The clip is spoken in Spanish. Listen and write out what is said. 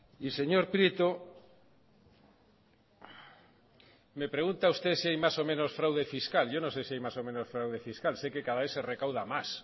y señor prieto me pregunta usted si hay más o menos fraude fiscal yo no sé si hay más o menos fraude fiscal sé que cada vez se recauda más